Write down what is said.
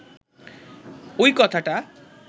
ঐ কথাটা